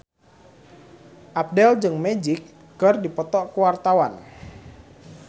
Abdel jeung Magic keur dipoto ku wartawan